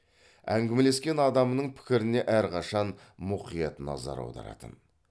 әңгімелескен адамының пікіріне әрқашан мұқият назар аударатын